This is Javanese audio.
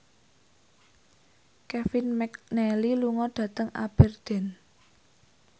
Kevin McNally lunga dhateng Aberdeen